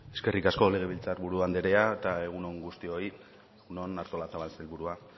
eskerrik asko legebiltzar buru andrea eta egun on guztioi egun on artolazabal sailburua